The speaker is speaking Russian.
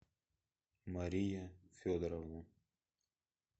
мария федоровна